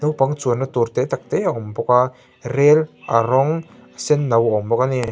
chuanna tur te tak te a awm bawk a rail a rawng sen no a awm bawk a ni.